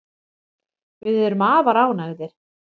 Við erum afar ánægðir